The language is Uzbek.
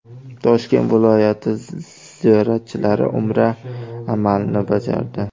Toshkent viloyati ziyoratchilari umra amalini bajardi.